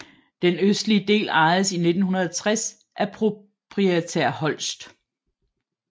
Den østlige del ejedes i 1960 af proprietær Holst